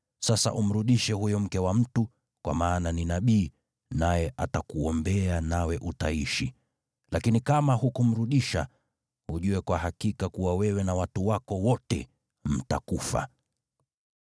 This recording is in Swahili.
Sasa umrudishe huyo mke wa mtu, kwa maana ni nabii, naye atakuombea nawe utaishi. Lakini kama hutamrudisha, ujue kwa hakika kuwa wewe na watu wako wote mtakufa.”